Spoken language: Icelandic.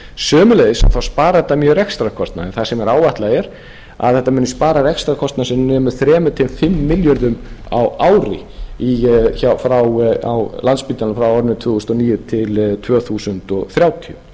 sömuleiðis sparar þetta mjög rekstrarkostnaðinn þar sem áætlað er að þetta muni spara rekstrarkostnað sem nemur þremur til fimm milljörðum á ári á landspítalanum frá ári tvö þúsund og níu til tvö þúsund þrjátíu